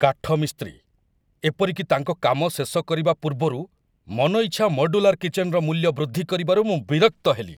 କାଠମିସ୍ତ୍ରୀ, ଏପରିକି ତାଙ୍କ କାମ ଶେଷ କରିବା ପୂର୍ବରୁ, ମନଇଚ୍ଛା ମଡ୍ୟୁଲାର କିଚେନ୍‌ର ମୂଲ୍ୟ ବୃଦ୍ଧି କରିବାରୁ ମୁଁ ବିରକ୍ତ ହେଲି।